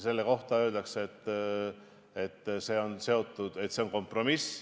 Selle kohta öeldakse, et see on kompromiss.